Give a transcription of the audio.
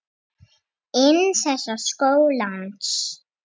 inn í sögu þessa lands.